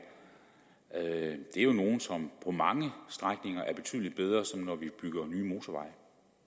er jo nogle som på mange strækninger er betydelig bedre end når